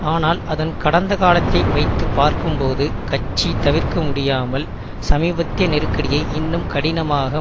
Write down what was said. ஆனால் அதன் கடந்த காலத்தை வைத்து பார்க்கும்போது கட்சி தவிர்க்க முடியாமல் சமீபத்திய நெருக்கடியை இன்னும் கடினமாக